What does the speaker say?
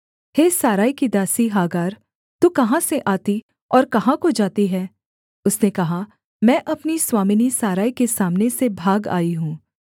हे Sarai की दासी Hagar तू कहाँ से आती और कहाँ को जाती है उसने कहा मैं अपनी स्वामिनी सारै के सामने से भाग आई हूँ